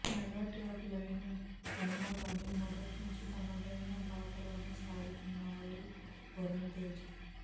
mega tag line ఉన్నాగానీ మొదట్నుంచీ తనదైన బాటలోనే సాగుతున్నారు వరుణ్ తేజ్